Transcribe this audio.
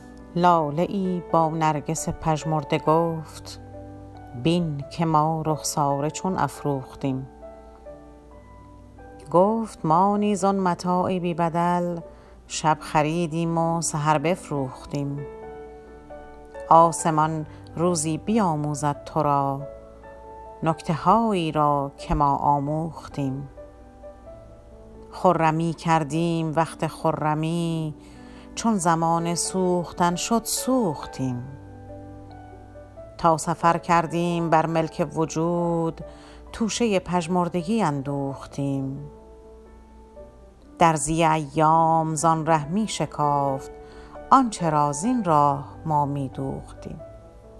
لاله ای با نرگس پژمرده گفت بین که ما رخساره چون افروختیم گفت ما نیز آن متاع بی بدل شب خریدیم و سحر بفروختیم آسمان روزی بیاموزد ترا نکته هایی را که ما آموختیم خرمی کردیم وقت خرمی چون زمان سوختن شد سوختیم تا سفر کردیم بر ملک وجود توشه پژمردگی اندوختیم درزی ایام زان ره میشکافت آنچه را زین راه ما میدوختیم